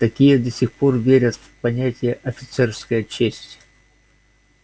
такие до сих пор верят в понятие офицерская честь